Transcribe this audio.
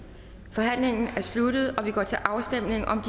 forhandlingen er sluttet og vi går til afstemning om